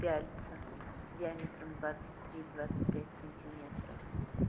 пяльца диаметром двадцать три двадцать пять сантиметров